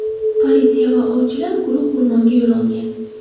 Politsiya va ovchilar guruhi o‘rmonga yo‘l olgan.